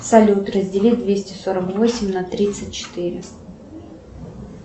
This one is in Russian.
салют раздели двести сорок восемь на тридцать четыре